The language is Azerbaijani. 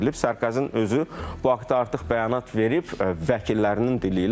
Sarkozinin özü bu haqda artıq bəyanat verib vəkillərinin dili ilə.